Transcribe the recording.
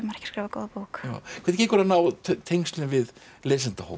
skrifa góða bók hvernig gengur að ná tengslum við